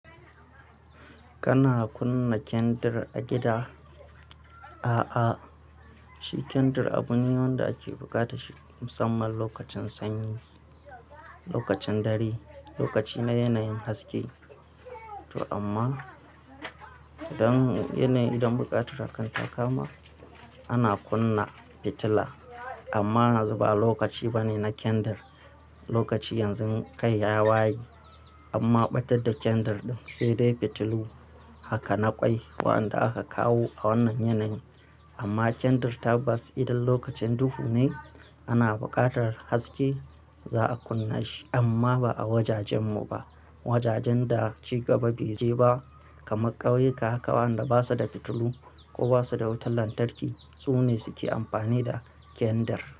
Kana kunna kendir a gida? A'a, shi kendir abu ne wanda ake bukata shi musamman lokacin sanyi, lokacin dare, lokaci na yanayin haske. To amma don yanayi idan bukata kan takama, ana kunna fitila. Amma yanzu ba lokaci bane na kendir. Lokaci yanzu kai ya waye amma ɓatar da kendir ɗin, sai dai fitilu haka na ƙwai waɗanda aka kawo a wannan yanayi. Amma kendir tabbas idan lokacin duhu ne ana buƙatar haske, za a kunna shi amma ba a wajajenmu ba. Wajajen da ciga ba beje ba kamar ƙauyuka, waɗanda basa da fitilu ko basa da wutar lantarki, su ne suke amfani da kendir.